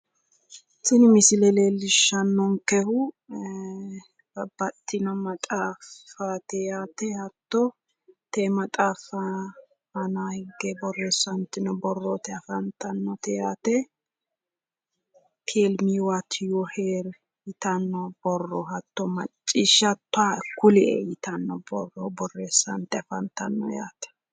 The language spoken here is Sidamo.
tini misile leellishshannonkehu babbaxino maxaaffaati yaate hatto tee maxaaffa aanaa higge borreessantino borrooti afantannoti yaate teeli mi waati yu hiiri yitanno borro Hatano macciishshoottoha kulie yitanno borro borreessante afantanno yaate.